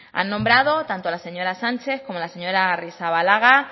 han nombrado tanto la señora sánchez como la señora arrizabalaga